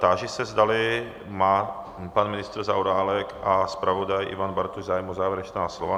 Táži se, zdali má pan ministr Zaorálek a zpravodaj Ivan Bartoš zájem o závěrečná slova.